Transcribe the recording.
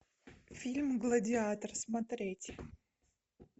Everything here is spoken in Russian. фильм гладиатор смотреть